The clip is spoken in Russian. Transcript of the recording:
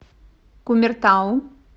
кумертау